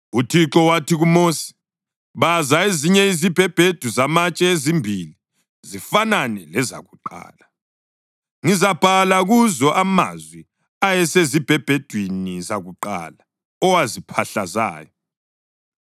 UThixo wathi kuMosi, “Baza ezinye izibhebhedu zamatshe ezimbili zifanane lezakuqala. Ngizabhala kuzo amazwi ayesezibhebhedwini zakuqala owaziphahlazayo.